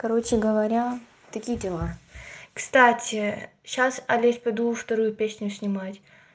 короче говоря такие дела кстати сейчас в лес подула вторую песню снимать